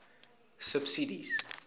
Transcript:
subsidies